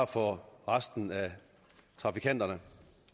for resten af trafikanterne